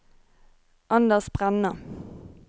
Anders Brenna